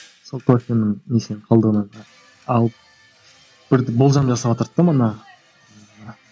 сол кофенің несінен қалдығынан алып бір болжам жасаватырды да та